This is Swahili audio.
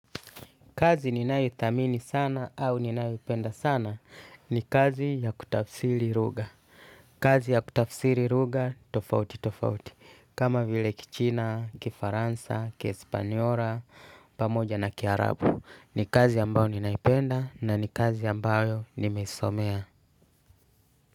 Kazi ninayo ithamini sana au ninayo ipenda sana ni kazi ya kutafsiri ruga. Kazi ya kutafsiri ruga tofauti tofauti. Kama vile kichina, kifaransa, kiespaniora, pamoja na kiarabu. Ni kazi ambayo ninaipenda na ni kazi ambayo nimesomea.